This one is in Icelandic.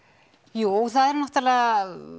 jú það er náttúrulega